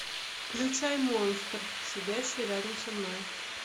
включай монстр сидящий рядом со мной